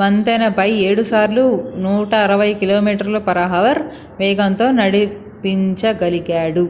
వంతెనపై 7 సార్లు 160km/h వేగంతో నడిపించగలిగాడు